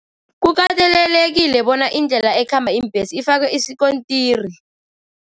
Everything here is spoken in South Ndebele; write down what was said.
Kukatelelekile bona indlela ekhamba iimbhesi ifakwe isikontiri.